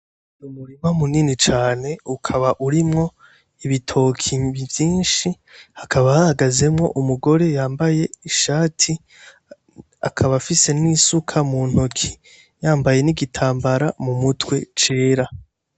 Umurima munini cane ukaba urimwo ibitoki vyinshi, hakaba hahagazemwo umugore yambaye ishati, akaba afise n'isuka mu ntoki, yambaye n'igitambara mu mutwe cera.